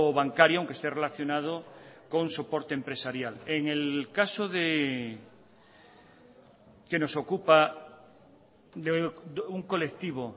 bancario aunque esté relacionado con soporte empresarial en el caso que nos ocupa de un colectivo